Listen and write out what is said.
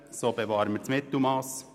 So bewahren wir vielmehr das Mittelmass.